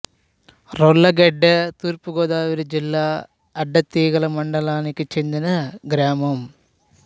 రొల్లగెడ్డ తూర్పు గోదావరి జిల్లా అడ్డతీగల మండలానికి చెందిన గ్రామం